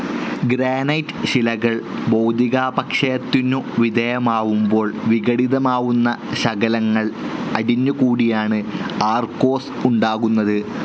Granite ശിലകൾ ഭൗതികാപക്ഷയത്തിനു വിധേയമാവുമ്പോൾ വിഘടിതമാവുന്ന ശകലങ്ങൾ അടിഞ്ഞുകൂടിയാണ് ആർകോസ് ഉണ്ടാകുന്നത്.